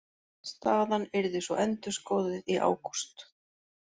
Staðan yrði svo endurskoðuð í ágúst